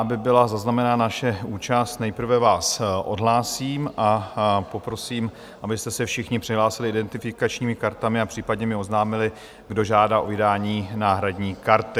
Aby byla zaznamenána naše účast, nejprve vás odhlásím a poprosím, abyste se všichni přihlásili identifikačními kartami, a případně mi oznámili, kdo žádá o vydání náhradní karty.